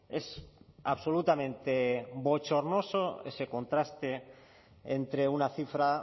es absolutamente bochornoso ese contraste entre una cifra